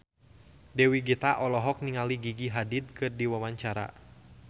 Dewi Gita olohok ningali Gigi Hadid keur diwawancara